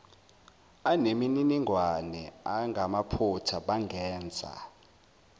anemininingwane engamaphutha bangenza